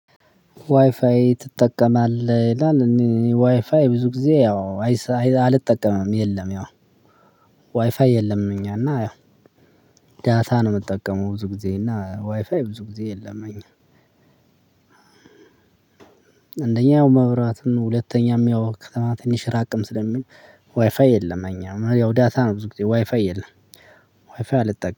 ዋይፋይ ትጠቀማለህ ይላል? ዋይፋይ ብዙ ጊዜ ያው አልጠቀምም የለም። ያው ዋይፋይ የለም እኛና ያው ዳታ ነው የምጠቀመው ብዙ ጊዜ እና ዋይፋይ ብዙ ጊዜ የለም። እኛ አንደኛ መብራት ሁለተኛም ያው ከተማ ትንሽ ራቅም ስለሚል ዋይፋይ የለም። እኛ ነው ያው ዳታ ነው ብዙ ጊዜ ዋይፋይ የለም። ዋይፋይ አልጠቀምም